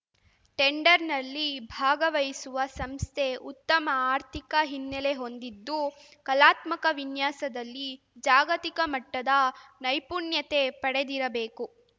ಟೆಂಡರ್‌ನಲ್ಲಿ ಭಾಗವಹಿಸುವ ಸಂಸ್ಥೆ ಉತ್ತಮ ಆರ್ಥಿಕ ಹಿನ್ನೆಲೆ ಹೊಂದಿದ್ದು ಕಲಾತ್ಮಕ ವಿನ್ಯಾಸದಲ್ಲಿ ಜಾಗತಿಕ ಮಟ್ಟದ ನೈಪುಣ್ಯತೆ ಪಡೆದಿರಬೇಕು